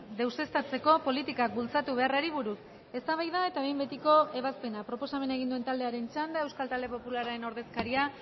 deuseztatzeko politikak bultzatu beharrari buruz eztabaida eta behin betiko ebazpena proposamena egin duen taldearen txanda euskal talde popularraren ordezkaria